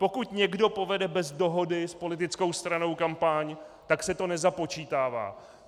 Pokud někdo povede bez dohody s politickou stranou kampaň, tak se to nezapočítává.